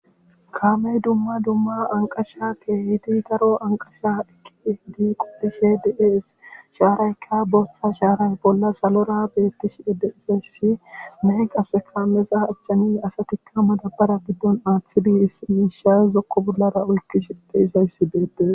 Kaame dumma dumma anqqasha keehidi daro anqqasha efidi qolishe de'ees. shaaraykka booththa shaaray killi salora beetishe de'ees. nay qasse mixa achan asati madabaren aatishe zokko bollara oyikishe de'izayssi beetees.